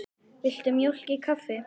Viltu mjólk í kaffið?